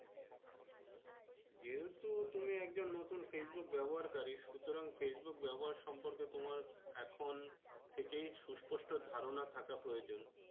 যেহেতু তুমি একজন নতুন Facebook ব্যাবহারকারি সুতরং Facebook ব্যাবহার সম্পর্কে তোমার এখন থেকেই সুস্পষ্ট ধারণা থাকা প্রয়োজন।